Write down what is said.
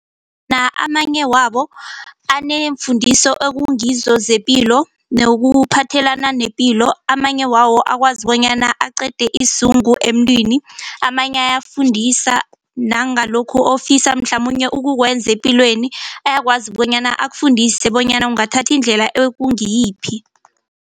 Amanye wabo anemfundiso ekungizo zepilo nokuphathelana nepilo amanye wawo akwazi bonyana aqede isizungu emntwini amanye ayafundisa nangalokhu ofisa mhlamunye ukukwenza epilweni ayakwazi bonyana akufundise bonyana ungathatha indlela ekungiyiphi.